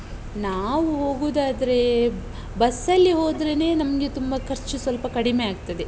ನಾವು ಹೋಗುದಾದ್ರೆ bus ಅಲ್ಲಿ ಹೋದ್ರೆನೆ ನಮ್ಗೆ ತುಂಬ ಖರ್ಚು ಸ್ವಲ್ಪ ಕಡಿಮೆ ಆಗ್ತದೆ.